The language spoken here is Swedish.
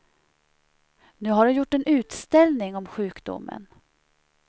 Nu har hon gjort en utställning om sjukdomen.